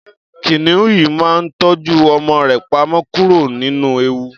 kìnìún yìí máa ń tọ́jú ọmọ rẹ pamọ́ kúrò ní ewu